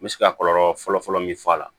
N bɛ se ka kɔlɔlɔ fɔlɔ-fɔlɔ min fɔ a la